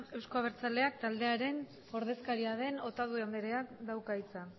euzko aberltzaleak taldearen ordezkaria den otadui andreak dauka hitza